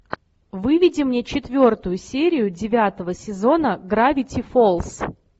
выведи мне четвертую серию девятого сезона гравити фолз